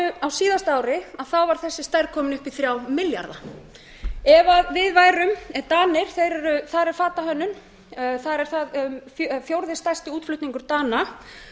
á síðasta ári var þessi stærð komin upp í þrjá milljarða ef við værum danir þar er fatahönnun fjórði stærsti útflutningur dana